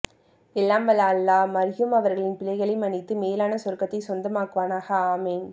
எல்லாம் வல்ல அல்லாஹ் மர்ஹூம் அவர்களின் பிழைகளை மண்ணித்து மேலான சொர்க்கத்தை சொந்த மாக்குவானாக ஆமீன்